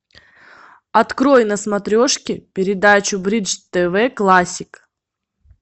открой на смотрешке передачу бридж тв классик